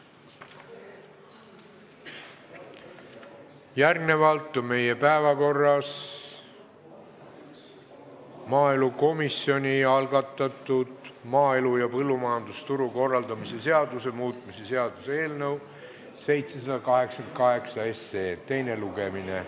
Järgmisena on meie päevakorras maaelukomisjoni algatatud maaelu ja põllumajandusturu korraldamise seaduse muutmise seaduse eelnõu 788 teine lugemine.